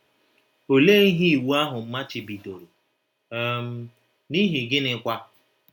Olee ihe iwu ahụ machibidoro um, n’ihi gịnịkwa?